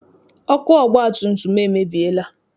Ọkụ ọgbatumtum m emebiela.